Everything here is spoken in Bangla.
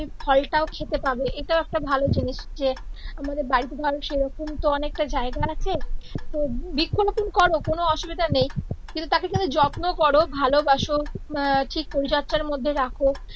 ফলটাও খেতে পাবে এইটা ও একটা ভালো জিনিস যে আমাদের বাড়িতে ধরো সেই রকম তো অনেকটা জায়গা আছে তো বৃক্ষ রোপন করো কোন অসুবিধা নেই কিন্তু তাকে তুমি যত্ন করো ভালোবাসো আর ঠিক পরিচর্যার মধ্যে রাখো